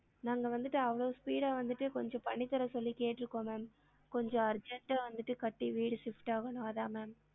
நாங்க வந்திட்டு அவ்ளோ speed ஆ வந்துட்டு கொஞ்சம் பண்ணி தர சொல்லி கேட்டுருக்கோம் ma'am கொஞ்சம் urgent ஆ வந்து கட்டி வீடு shift ஆகனும் அதான் ma'am